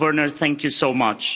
So Werner, thank you so much.